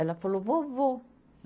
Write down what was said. Ela falou, vovô.